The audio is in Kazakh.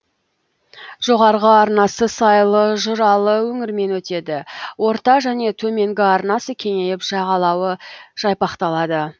жоғарғы арнасы сайлы жыралы өңірмен өтеді орта және төменгі арнасы кеңейіп жағалауы жайпақталады